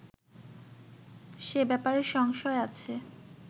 সে ব্যাপারে সংশয় আছে